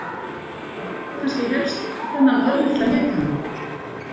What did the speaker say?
Það vantaði kannski helst þennan örlitla litamun.